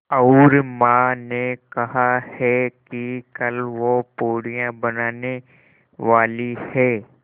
और माँ ने कहा है कि कल वे पूड़ियाँ बनाने वाली हैं